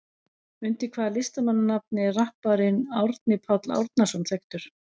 Undir hvaða listamannsnafni er rapparinn Árni Páll Árnason þekktur?